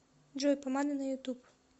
джой помада на ютуб